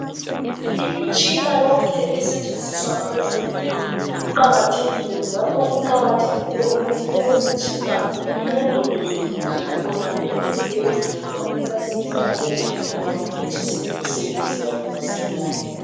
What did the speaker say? Imitshina yonke esetshenziswa ngabezempilo iqakathekile njalo kuqakathekile ukuthi leyomitshina ilondolozwe kuhle khonale ezibhedlela ngoba iyasiza abezempilo baphutshise imisebenzi yabo masinyane